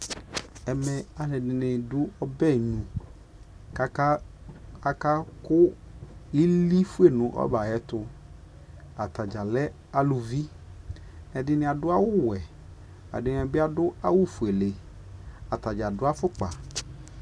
ɛmɛ alʋɛdini dʋ ɔbɛ ayinʋ kʋ aka kʋ ili ƒʋɛ nʋ ɔbɛ ayɛtʋ, atagya lɛ alʋvi, ɛdiniadʋ awʋ wɛ ɛdini bi adʋ ƒʋɛlɛ, atani adʋ aƒʋkpa